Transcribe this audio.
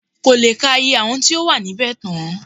Kò lè ka iye àwọn tí ó wà níbẹ̀ tán